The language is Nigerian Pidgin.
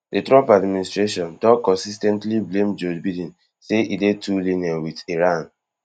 di trump administration don consis ten tly blame joe biden say e dey too lenient wit iran